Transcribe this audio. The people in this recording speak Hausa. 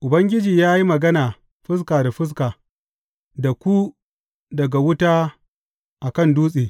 Ubangiji ya yi magana fuska da fuska da ku daga wuta a kan dutse.